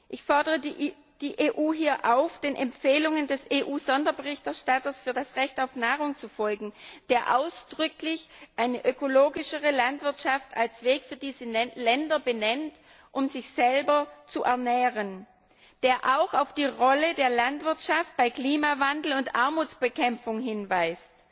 Ich fordere die EU hier auf, den Empfehlungen des EU Sonderberichterstatters für das Recht auf Nahrung zu folgen, der ausdrücklich eine ökologischere Landwirtschaft als Weg für diese Länder benennt, um sich selber zu ernähren, und der auch auf die Rolle der Landwirtschaft bei Klimawandel und Armutsbekämpfung hinweist.